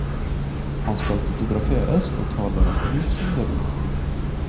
Han skal fotograferes, og tar det med knusende ro.